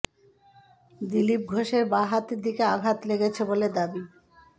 দিলীপ ঘোষের বাঁ হাতের দিকে আঘাত লেগেছে বলে দাবি